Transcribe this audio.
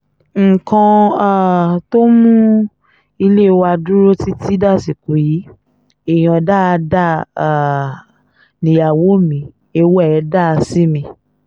nǹkan um tó mú ilé wa dúró títí dàsìkò yìí èèyàn dáadáa um nìyàwó mi ìwà ẹ̀ dáa sí mi